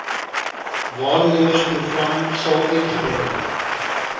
waarnemersprogram sal uitgebrei